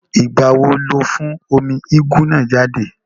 Ìgbà wo ló fún omi úgú náà jáde?